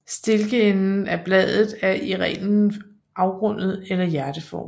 Stilkenden af bladet er i reglen afrundet eller hjerteformet